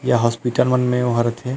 ये हॉस्पिटल मन में ओ हा रथे।